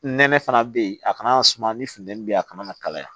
Nɛnɛ fana bɛ yen a kana suma ni funtɛni bɛ yen a kana kalaya